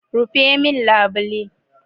Rufe min labule!